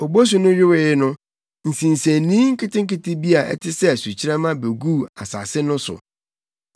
Obosu no yowee no, nsinsenii nketenkete bi a ɛte sɛ sukyerɛmma beguu asase no so.